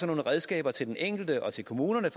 nogle redskaber til den enkelte og til kommunerne